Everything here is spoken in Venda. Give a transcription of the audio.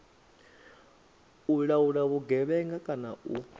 u laula vhugevhenga kana u